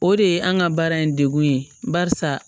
O de ye an ka baara in degu ye barisa